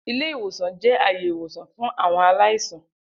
Ile-iwosan jẹ aaye iwosan fun awọn alaisan.